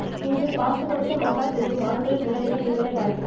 இங்கு காசு கொடுத்து மசாஜ் செய்யும் ஆண்களின் நிலைமையை நீங்களே பாருங்கள்